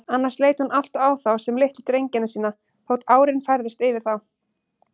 Annars leit hún alltaf á þá sem litlu drengina sína, þótt árin færðust yfir þá.